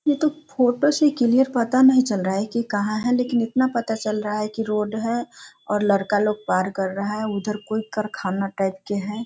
ये तो फोटो से क्लियर पता नहीं चल रहा है की कहां है लेकिन इतना पता चल रहा है की रोड है और लड़का लोग पार कर रहा है उधर कोई करखाना टाइप के है।